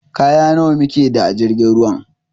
Kaya nawa mu keda a jirgin ruwan?